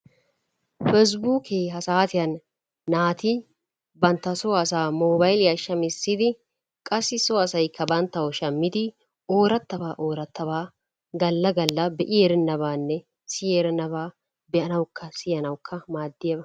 Peessibuukee ha saatiyan naati bantta soo asaa moobaylliya shammisidi qassi so asaykka bantawu shammidi ooratabaa oorataba gala gala be'i erenabba siyi erennabaa be'anawukka siyanawukka maadiyaba.